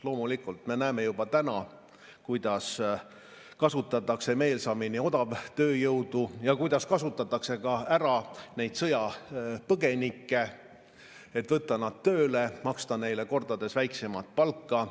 Loomulikult, me näeme juba täna, kuidas kasutatakse meelsamini odavtööjõudu ja kuidas kasutatakse ära neid sõjapõgenikke, et võtta nad tööle, maksta neile kordades väiksemat palka.